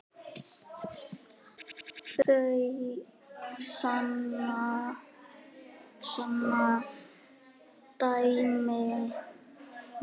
Það sanna dæmin.